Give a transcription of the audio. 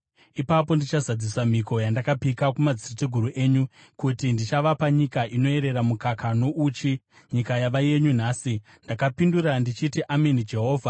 Ipapo ndichazadzisa mhiko yandakapika kumadzitateguru enyu, kuti ndichavapa nyika inoyerera mukaka nouchi,’ nyika yava yenyu nhasi.” Ndakapindura ndichiti, “Ameni, Jehovha.”